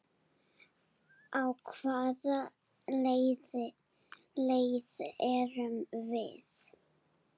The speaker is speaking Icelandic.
Á hvaða leið erum við?